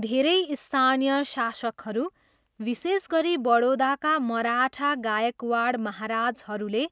धेरै स्थानीय शासकहरू, विशेष गरी बडोदाका मराठा गायकवाड महाराजहरूले,